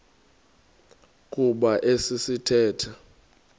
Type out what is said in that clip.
kuba esi sithethe